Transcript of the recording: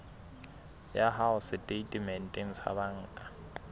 ya hao setatementeng sa banka